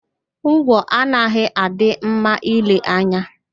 Ngwọ anaghị adị mma ìlè anya